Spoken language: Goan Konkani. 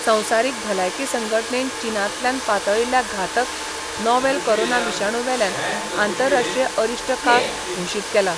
संवसारीक भलायकी संघटणेन चिनांतल्यान पातळिल्ल्या घातक नॉवेल कोरोना विशाणू वेल्यान आंतरराष्ट्रीय अरिश्ट काळ घोशीत केला.